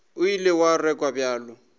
o ile wa rakwa bjalo